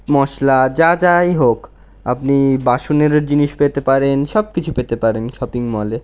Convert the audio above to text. মশলা-- যা যাই-- হোক আপনি বাসুনেরও জিনিস পেতে পারেন সব কিছু পেতে পারেন শপিং মল এ--